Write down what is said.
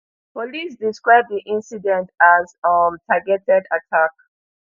police describe di incident as um targeted attack